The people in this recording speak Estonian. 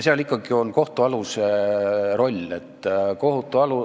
Seal on ikkagi ka kohtualuse rollil oma osa.